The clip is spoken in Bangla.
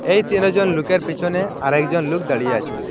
এই তেরোজন লোকের পিছনে আরেকজন লোক দাঁড়িয়ে আছে।